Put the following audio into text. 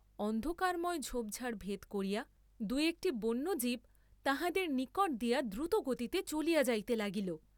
অন্ধকারময় ঝোপঝাপ ভেদ করিয়া, দুই একটি বন্য জীব তাঁহাদের নিকট দিয়া দ্রুতগতিতে চলিয়া যাইতে লাগিল।